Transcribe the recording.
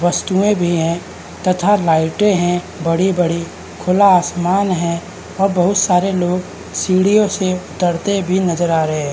वस्तुएं भी हैं तथा लाइट हैं बड़ी बड़ी खुल आसमान है और बहोत सारे लोग सीढ़ियों से उतरते भी नजर आ रहे हैं।